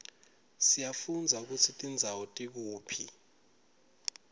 siaundza kutsi tindzawo tikuphi